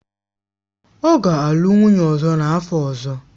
Ọ ga-alụ nwunye ọzọ n'afọ ọzọ.